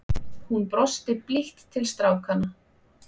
Hún brosti blítt til strákanna.